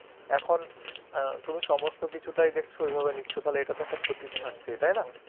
এখন অ্যাঁ তুমি সমস্ত কিছু টাই দেখছো, ওই ভাবেই নিচ্ছো তাহলে এটা তো একটা ক্ষতি থাকছে, তাই না?